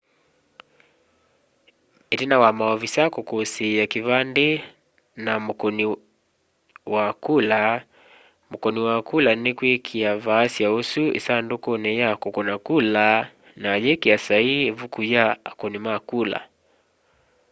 itina wa maovisaa kukusia kivandi kya mukuni wa kula mukuni wa kula nikwikia vaasya usu isandukuni ya kukuna kula na ayikia saii ivuku ya akuni ma kula